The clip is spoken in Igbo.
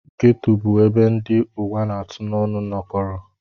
Geto bụ ebe ndị ụwa na-atụ n'ọnụ nọkọrọ.